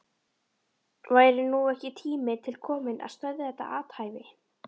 Væri nú ekki tími til kominn að stöðva þetta athæfi?